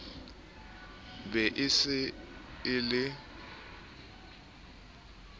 be e se e le